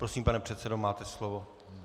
Prosím, pane předsedo, máte slovo.